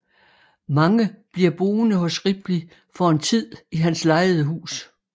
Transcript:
Marge bliver boende hos Ripley for en tid i hans lejede hus